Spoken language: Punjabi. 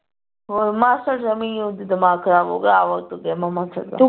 ਹੁਣ ਮਾਸੜ ਉਹਦਾ ਦਿਮਾਗ ਖਰਾਬ ਹੋ ਗਿਆ ਆਵਾ ਊਤਿਆ ਮਾਸੜ ਦਾ